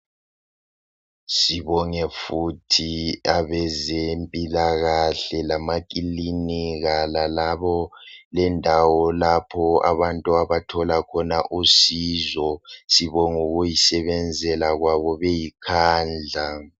Sibonge futhi abezempilakahle lamakinlinika lalabo lendawo lapho abantu abathola khona usizo sibongukuyisebenzela kwabo ngokuzikhandla.